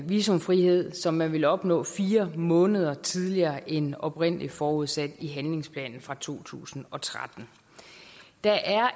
visumfrihed som man vil opnå fire måneder tidligere end oprindelig forudsat i handlingsplanen fra to tusind og tretten der er